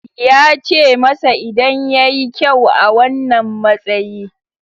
Ya ce masa idan ya yi kyau a wannan matsayi.